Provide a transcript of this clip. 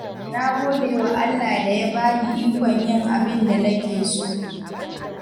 Na gode wa Allah da ya bani ikon yin abin da nake so.